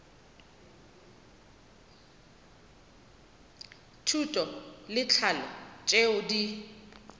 thuto le tlhahlo tšeo di